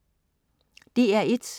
DR1: